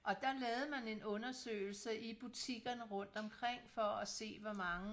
Og der lavede man en undersøgelse i butikkerne rundt omkring for at se hvor mange